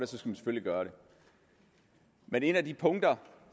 selvfølgelig gøre det men et af de punkter